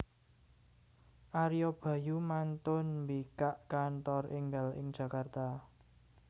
Ario Bayu mantun mbikak kantor enggal ing Jakarta